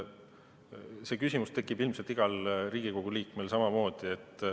See küsimus tekib samamoodi ilmselt igal Riigikogu liikmel.